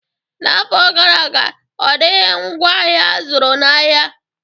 N'afọ gara aga, ọ dịghị ngwaahịa azụrụ n'ahịa